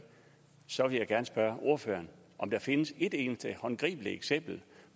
så jeg vil gerne spørge ordføreren om der findes et eneste håndgribeligt eksempel